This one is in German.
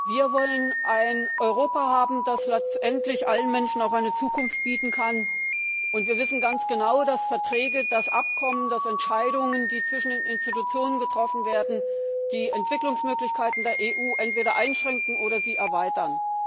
Wir wollen ein Europa haben, das letztendlich allen Menschen auch eine Zukunft bieten kann, und wir wissen ganz genau, dass Verträge, Abkommen, Entscheidungen, die zwischen den Institutionen getroffen werden, die Entwicklungsmöglichkeiten der EU entweder einschränken oder sie erweitern.